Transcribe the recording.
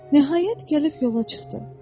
Nəhayət gəlib yola çıxdı.